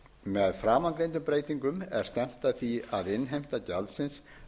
með framangreindu er stefnt að því að innheimta gjaldsins